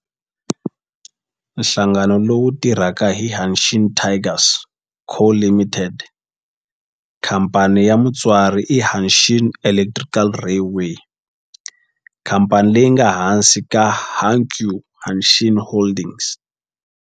Nhlangano lowu tirhaka i Hanshin Tigers Co., Ltd. Khamphani ya mutswari i Hanshin Electric Railway, khamphani leyi nga ehansi ka Hankyu Hanshin Holdings.